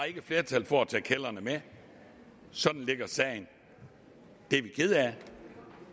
ikke flertal for at tage kældrene med sådan ligger sagen det er vi kede af